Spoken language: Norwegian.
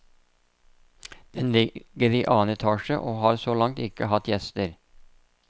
Den ligger i annen etasje, og har så langt ikke hatt gjester.